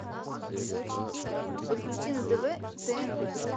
подключи на тв тнв